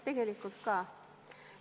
Tegelikult ka.